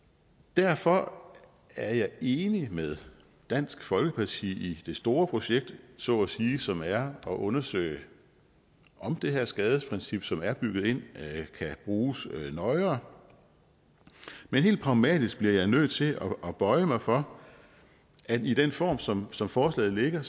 derfor er jeg enig med dansk folkeparti i det store projekt så at sige som er at undersøge om det her skadesprincip som er bygget ind kan bruges nøjere men helt pragmatisk bliver jeg nødt til at bøje mig for at i den form som som forslaget ligger